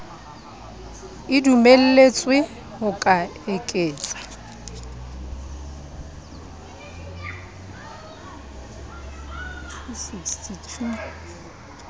e dumelletswe ho ka eketsa